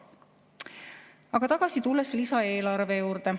Tulen tagasi lisaeelarve juurde.